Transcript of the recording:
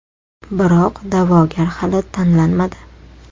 Biroq da’vogar hali tanlanmadi.